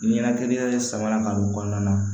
Ɲɛnakili yɛrɛ sabanan ka don kɔnɔna na